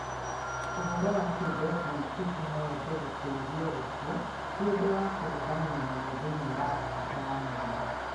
Ũhoro wa atĩ Desmond Tutu no ende gũteithio gũkua ti ũndũ wa kũgegania mũno thĩinĩ wa Abirika ya Mũhuro.